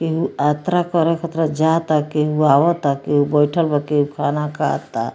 केहू आत्रा करे खत्रा जाता केहू आवता केहू बइठल बा केहू खाना खाता।